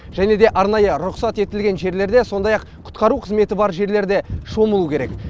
және де арнайы рұқсат етілген жерлерде сондай ақ құтқару қызметі бар жерлерде шомылу керек